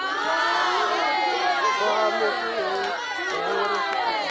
tswa go mo mongongoregi kgotsa